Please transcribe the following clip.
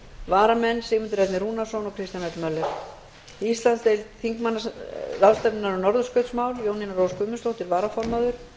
varamenn eru sigmundur ernir rúnarsson og kristján l möller íslandsdeild þingmannaráðstefnunnar um norðurskautsmál jónína rós guðmundsdóttir varaformaður